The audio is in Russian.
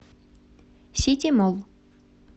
сити молл